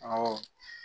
Awɔ